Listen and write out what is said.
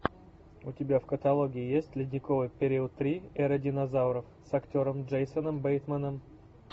у тебя в каталоге есть ледниковый период три эра динозавров с актером джейсоном бейтманом